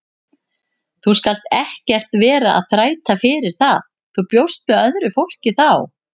Þú skalt ekkert vera að þræta fyrir það, þú bjóst með öðru fólki þá!